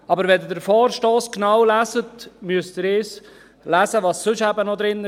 Aber wenn Sie den Vorstoss genau lesen, müssen Sie das lesen, was sonst eben noch darinsteht.